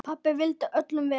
Pabbi vildi öllum vel.